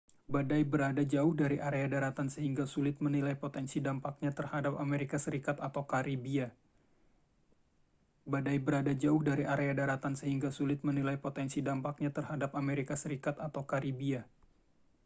badai berada jauh dari area daratan sehingga sulit menilai potensi dampaknya terhadap amerika serikat atau karibia